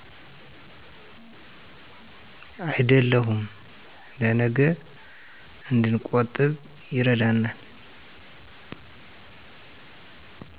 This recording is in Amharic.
አይደለሁም ለነገ እድንቆጥብ ይረዳናል።